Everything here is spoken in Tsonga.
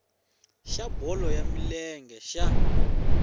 xa bolo ya milenge xa